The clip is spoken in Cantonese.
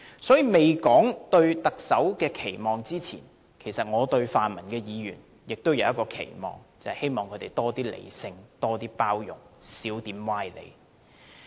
所以，在說出對特首的期望之前，我對泛民議員也有一個期望，便是希望他們多一些理性和包容，少一些歪理。